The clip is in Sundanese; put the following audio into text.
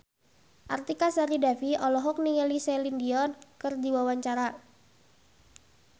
Artika Sari Devi olohok ningali Celine Dion keur diwawancara